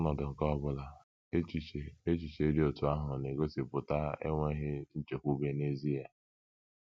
N’ọnọdụ nke ọ bụla, echiche echiche dị otú ahụ na - egosipụta enweghị nchekwube n’ezie.